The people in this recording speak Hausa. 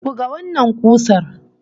Buga wannan kusar!